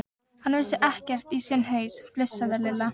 Hann vissi ekkert í sinn haus, flissaði Lilla.